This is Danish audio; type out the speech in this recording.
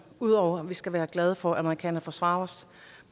ud over at vi skal være glade for at amerikanerne forsvarer os